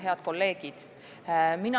Head kolleegid!